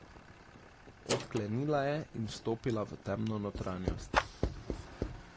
Odklenila je in vstopila v temno notranjost.